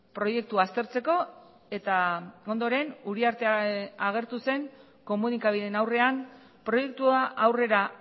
proiektua aztertzeko eta ondoren uriarte agertu zen komunikabideen aurrean proiektua aurrera